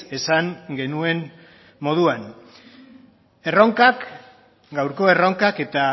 esan genuen moduan erronkak gaurko erronkak eta